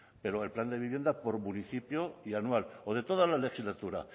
pero el plan de vivienda por municipio y anual o de todas las legislatura